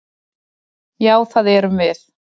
Já, það erum við.